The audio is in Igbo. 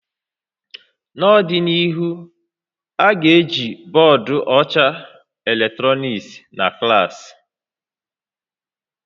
N'ọdịnihu, a ga-eji bọọdụ ọcha eletrọnịkị na klaasị